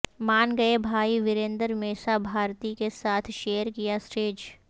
مان گئے بھائی ورندنر میسابھارتی کے ساتھ شیئر کیا اسٹیج